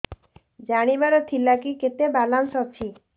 ଜାଣିବାର ଥିଲା କି କେତେ ବାଲାନ୍ସ ଅଛି